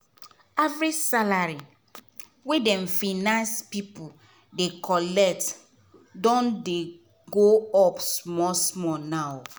average salary wey dem finance pipu dey collect don dey go up small small now.